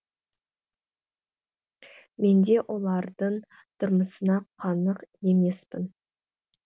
мен де олардың тұрмысына қанық емеспін